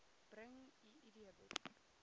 bring u idboek